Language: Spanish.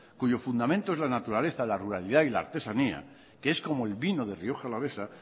cuyo fundamento es la naturaleza la ruralidad y la artesanía que es como el vino de rioja alavesa